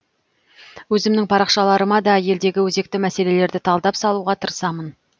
өзімнің парақшаларыма да елдегі өзекті мәселелерді талдап салуға тырысамын